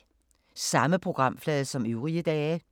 Samme programflade som øvrige dage